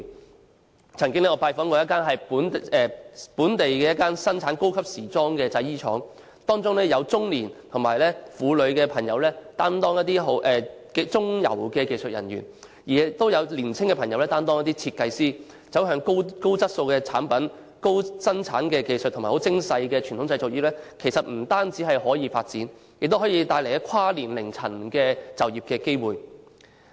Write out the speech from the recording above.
我曾經拜訪一間生產本地高級時裝產品的製衣廠，當中有中年和婦女朋友擔當中游的技術人員，亦有年輕朋友擔當設計師，反映走向高質素產品、高生產技術和精工細作的傳統製造業不但可以發展，亦可以帶來跨年齡層的就業機會。